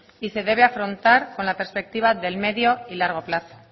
y se debe afrontar con la perspectiva del medio y largo plazo